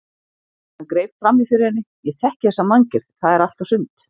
Hann greip fram í fyrir henni: Ég þekki þessa manngerð, það er allt og sumt